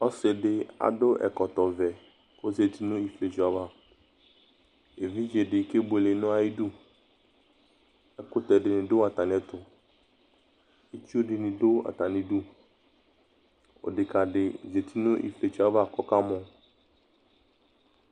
Ɔsɩ dɩ adʋ ɛkɔtɔvɛ kʋ ɔzati nʋ ifietso ava Evidze dɩ kebuele nʋ ayidu Ɛkʋtɛ dɩnɩ dʋ atamɩɛtʋ Itsu dɩnɩ dʋ atamɩdu Odekǝ dɩ zati nʋ ifietso yɛ ava kʋ ɔkamɔ